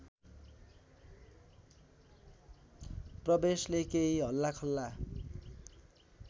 प्रवेशले केही हल्लाखल्ला